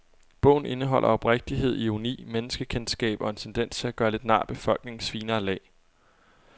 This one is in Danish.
Bogen indeholder oprigtighed, ironi, menneskekendskab og en tendens til at gøre lidt nar af befolkningens finere lag.